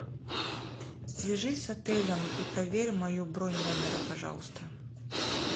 свяжись с отелем и проверь мою бронь номера пожалуйста